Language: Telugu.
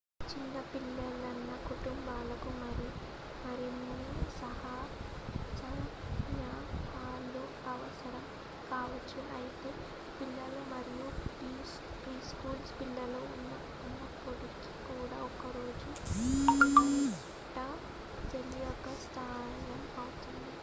చిన్న పిల్లలు న్న కుటుంబాలకు మరిన్ని సన్నాహాలు అవసరం కావొచ్చు అయితే పిల్లలు మరియు ప్రీ స్కూలు పిల్లలు ఉన్నప్పటికీ కూడా ఒక రోజు ఆరుబయట తేలికగా సాధ్యం అవుతుంది